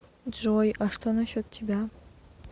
джой а что насчет тебя